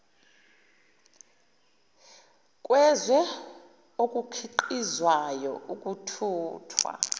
kwezwe okukhiqizwayo ukuthuthwa